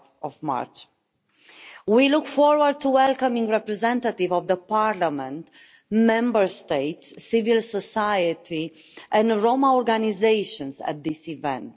5. We look forward to welcoming representatives of the Parliament, Member States, civil society and Roma organisations at this event.